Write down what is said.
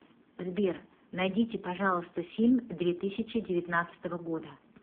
сбер найдите пожалуйста фильм две тысячи девятнадцатого года